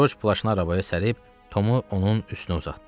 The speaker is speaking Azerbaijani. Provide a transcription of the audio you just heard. Corc plaşını arabaya sərib, Tomu onun üstünə uzatdı.